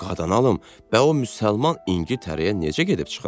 Qadan alım, bə o müsəlman İngiltərəyə necə gedib çıxıb?